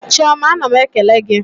Chiọma ana m ekele gị.